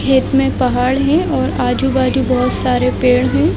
खेत में पहाड़ है और आजू-बाजु बहुत सारे पेड़ है।